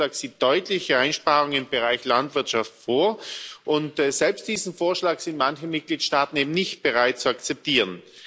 Dieser Vorschlag sieht deutliche Einsparungen im Bereich Landwirtschaft vor und selbst diesen Vorschlag sind manche Mitgliedstaaten eben nicht bereit zu akzeptieren.